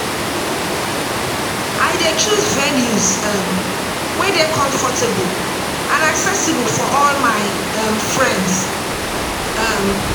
I dey choose venues um wey dey comfortable and accessible for all my um friends. um